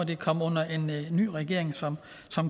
det komme under en ny regering som